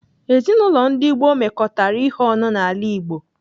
Ezinaụlọ ndi gboo mekọtara ihe ọnụ n'ala Igbo.